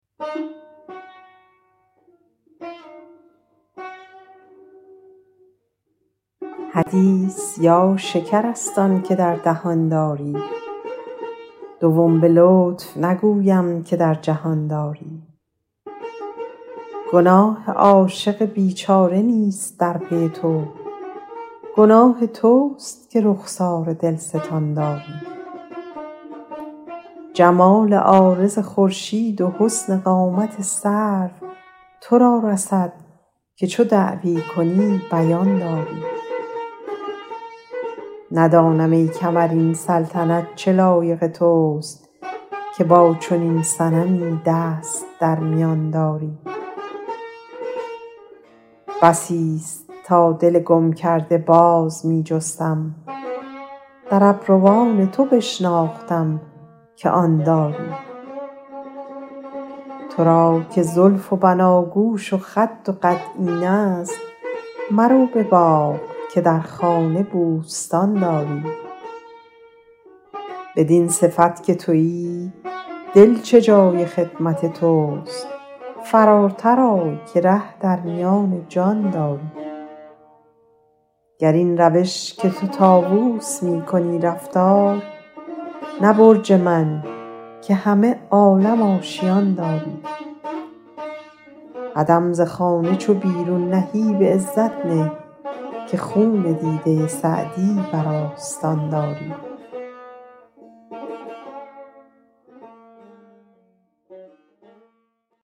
حدیث یا شکر است آن که در دهان داری دوم به لطف نگویم که در جهان داری گناه عاشق بیچاره نیست در پی تو گناه توست که رخسار دلستان داری جمال عارض خورشید و حسن قامت سرو تو را رسد که چو دعوی کنی بیان داری ندانم ای کمر این سلطنت چه لایق توست که با چنین صنمی دست در میان داری بسیست تا دل گم کرده باز می جستم در ابروان تو بشناختم که آن داری تو را که زلف و بناگوش و خد و قد اینست مرو به باغ که در خانه بوستان داری بدین صفت که تویی دل چه جای خدمت توست فراتر آی که ره در میان جان داری گر این روش که تو طاووس می کنی رفتار نه برج من که همه عالم آشیان داری قدم ز خانه چو بیرون نهی به عزت نه که خون دیده سعدی بر آستان داری